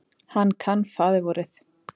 Hann kann faðirvorið.